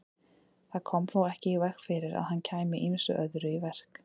Það kom þó ekki í veg fyrir að hann kæmi ýmsu öðru í verk.